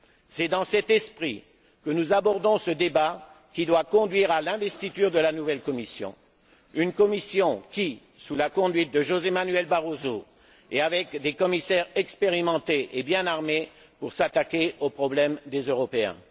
C'est dans cet esprit que nous abordons ce débat, qui doit conduire à l'investiture de la nouvelle Commission une Commission qui, sous la conduite de José Manuel Barroso et avec des commissaires expérimentés, est bien armée pour s'attaquer aux problèmes des Européens